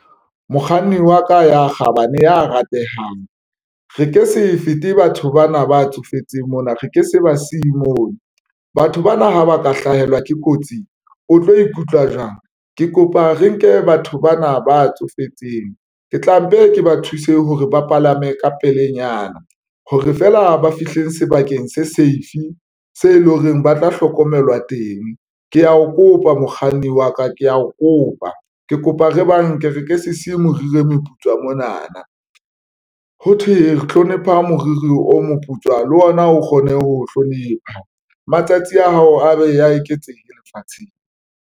Mokganni wa ka ya kgabane, ya ratehang, re ke se fete batho bana ba tsofetseng mona, re ke se ba siye moo batho bana ha ba ka hlahelwa ke kotsi. O tlo ikutlwa jwang? Ke kopa re nke batho bana ba tsofetseng. Ke tla mpe ke ba thuse hore ba palame ka pelenyana hore feela ba fihle sebakeng se safe se leng hore ba tla hlokomelwa teng. Ke ya o kopa mokganni wa ka ke ya o kopa ke ke kopa re banke re se se siye, moriri o moputswa mona na, ho thwe re hlonephe moriri o moputswa le ona o kgone ho hlonepha matsatsi a hao a be a eketsehe lefatsheng.